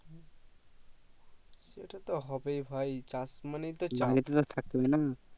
সেটা তো হবেই ভাই চাষ মানেই তো চাপ